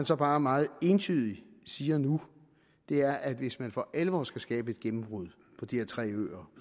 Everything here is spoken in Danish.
så bare meget entydigt siger nu er at hvis man for alvor skal skabe et gennembrud på de her tre øer